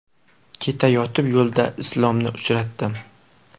Ketayotib yo‘lda Islomni uchratdim.